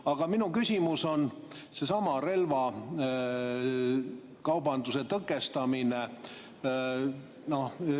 Aga minu küsimus on sellesama relvakaubanduse tõkestamise kohta.